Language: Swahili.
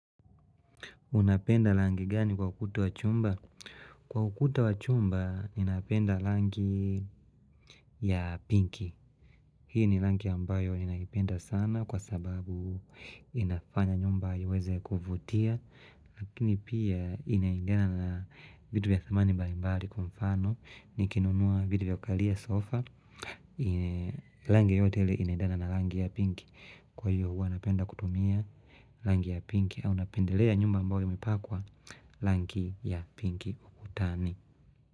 Unapenda rangi gani kwa ukuta wa chumba? Kwa ukuta wa chumba, ninapenda rangi ya pinki. Hii ni rangi ambayo ninaipenda sana kwa sababu inafanya nyumba iweze kuvutia, lakini pia inaingana na vitu vya thamani mbalimbali kwa mfano, nikinunua viti vya kalia sofa, rangi yote ile inaendana na rangi ya pinki. Kwa hiyo huwa anapenda kutumia rangi ya pinki au napendelea nyumba ambayo yamepakwa rangi ya pinki ukutani.